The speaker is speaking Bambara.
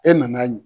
E nana